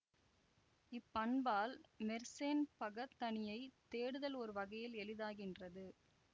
இப் பண்பால் மெர்சேன் பகத்தனியைத் தேடுதல் ஒரு வகையில் எளிதாகின்றது